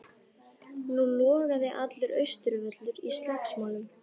Nú logaði allur Austurvöllur í slagsmálum.